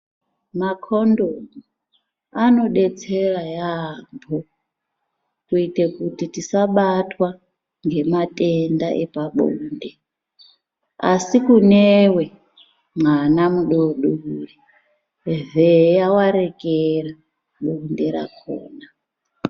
Makondomu anodetsera yaambo kuite kuti tisabatwa ngematenda epabonde. Asi kuneiwewe mwana mudoodori vheya warekera bonde rakona.